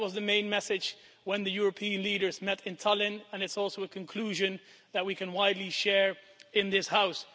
I think that was the main message when the European leaders met in Tallinn and it's also a conclusion that we can widely share in this House.